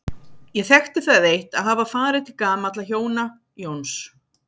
Ég þekkti það eitt að hafa farið til gamalla hjóna, Jóns